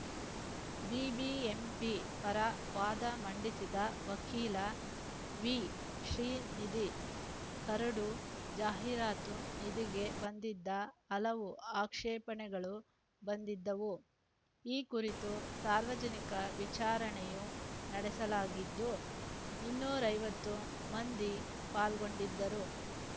BBMP ಪರ ವಾದ ಮಂಡಿಸಿದ ವಕೀಲ ವಿಶ್ರೀನಿಧಿ ಕರಡು ಜಾಹೀರಾತು ನೀತಿಗೆ ಬಂದಿದ್ದ ಹಲವು ಆಕ್ಷೇಪಣೆಗಳು ಬಂದಿದ್ದವು ಈ ಕುರಿತು ಸಾರ್ವಜನಿಕ ವಿಚಾರಣೆಯೂ ನಡೆಸಲಾಗಿದ್ದು ಇನ್ನೂರ ಐವತ್ತು ಮಂದಿ ಪಾಲ್ಗೊಂಡಿದ್ದರು